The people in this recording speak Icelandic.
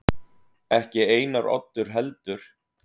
Ekki Einar Oddur heldur.